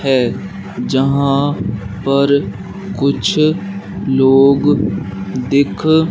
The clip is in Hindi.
है जहां पर कुछ लोग दिख--